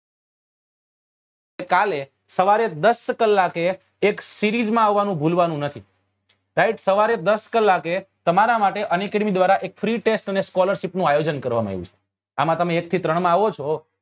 તો કાલે સવારે દસ કલાકે એક series માં આવા નું ભૂલવા નું નથી સાહેબ સવારે દસ કલાકે તમારા માટે unacademy દ્વારા એક free test અને scholarship નું આયોજન કરવા માં આવ્યું છે આમાં તમે એક થી ત્રણ માં આવો છો